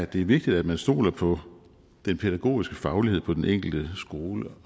det er vigtigt at man stoler på den pædagogiske faglighed på den enkelte skole